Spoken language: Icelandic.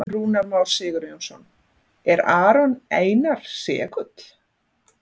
Rúnar Már Sigurjónsson: Er Aron Einar segull?